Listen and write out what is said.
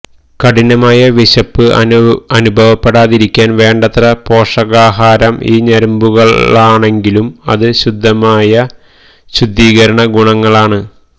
കഠിനമായ വിശപ്പ് അനുഭവപ്പെടാതിരിക്കാൻ വേണ്ടത്ര പോഷകാഹാരം ഈ ഞരമ്പുകളാണെങ്കിലും അത് ശുദ്ധമായ ശുദ്ധീകരണ ഗുണങ്ങളാണ്